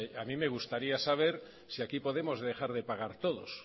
a mí me gustaría saber si aquí podemos dejar de pagar todos